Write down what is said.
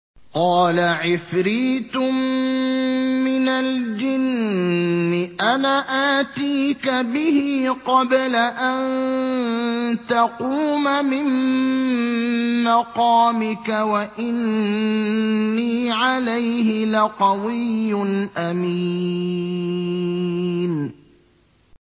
قَالَ عِفْرِيتٌ مِّنَ الْجِنِّ أَنَا آتِيكَ بِهِ قَبْلَ أَن تَقُومَ مِن مَّقَامِكَ ۖ وَإِنِّي عَلَيْهِ لَقَوِيٌّ أَمِينٌ